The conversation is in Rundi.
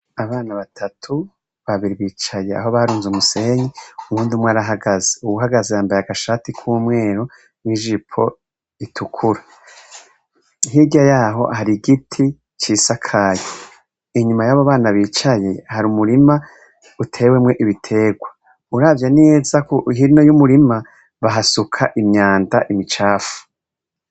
Abana batatu babiri bicaye aho baruze umusenyi uwundi umwe arahagaze yambaye agashati kumweru n'ijipo itukura, hirya yaho har'igiti cisakaye inyuma yabo bana bicaye hari umurima uteyemwo ibiterwa, uravye neza hino y'umurima bahasuka imyanda imicafu.